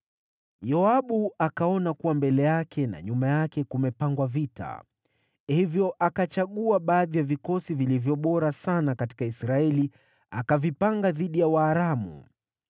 Yoabu akaona kuwa mbele yake na nyuma yake kumepangwa vita; kwa hiyo akachagua baadhi ya vikosi vilivyo bora sana katika Israeli akavipanga dhidi ya Waaramu.